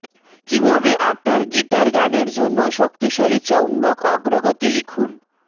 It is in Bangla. কিভাবে আপনার গিটার গানের জন্য শক্তিশালী চৌম্বক অগ্রগতি লিখুন